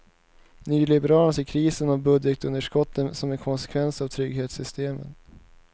Nyliberalerna ser krisen och budgetunderskottet som en konsekvens av trygghetssystemen.